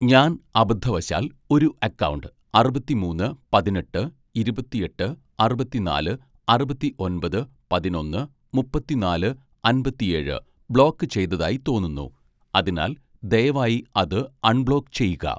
ഞാൻ അബദ്ധവശാൽ ഒരു അക്കൗണ്ട് അറുപത്തിമൂന്ന് പതിനെട്ട് ഇരുപത്തിയെട്ട് അറുപത്തിനാല് അറുപത്തിയൊൻപത് പതിനൊന്ന് മുപ്പത്തിനാല് അമ്പത്തിയേഴ് ബ്ലോക്ക് ചെയ്തതായി തോന്നുന്നു അതിനാൽ ദയവായി അത് അൺബ്ലോക്ക് ചെയ്യുക